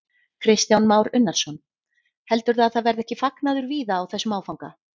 Kristján Már Unnarsson: Heldurðu að það verði ekki fagnaður víða á þessum áfanga?